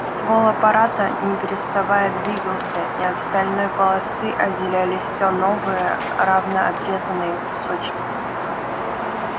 ствол аппарата не переставая двигался и от стальной полосы отделялись всё новые равно отрезанные кусочки